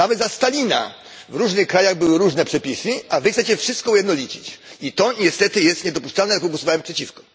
Nawet za Stalina w różnych krajach były różne przepisy, a wy chcecie wszystko ujednolicić. I to niestety jest niedopuszczalne, dlatego głosowałem przeciwko.